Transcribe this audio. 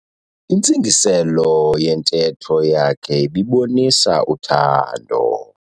Intsingiselo yentetho yakhe ibibonisa uthando.